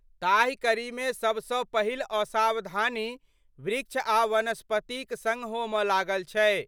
ताहि कड़ीमे समसँ पहिल असावधानी वृक्ष आ वनस्पतिक सड होमऽ लागल छै।